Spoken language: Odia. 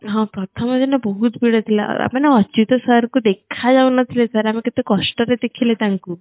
ହଁ ପ୍ରଥମ ଦିନ ବହୁତ ଭିଡ ଥିଲା ଆ ମାନେ ଅଚ୍ୟୁତ sir କୁ ଦେଖା ଯାଉ ନଥିଲେ sir ଆମେ କେତେ କଷ୍ଟ ରେ ଦେଖିଲେ ତାଙ୍କୁ